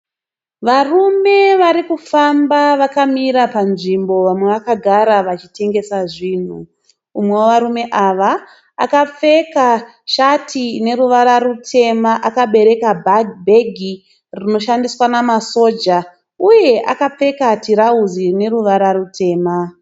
Varume vari kufamba vakamira panzvimbo vamwe vakagara vachitengesa zvinhu. Umwe wevarume ava akapfeka shati ine ruvara rutema akabereka bhegi rinoshandiswa namasoja uye akapfeka tirauzi rine ruvara rutema.